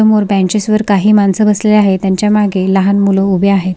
समोर बेंचेसवर काही माणस बसलेले आहे तेच्या मागे लहान मुल उभी आहेत.